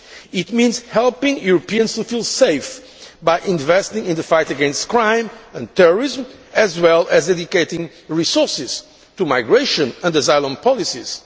It means helping Europeans to feel safe by investing in the fight against crime and terrorism, as well as dedicating resources to migration and asylum policies.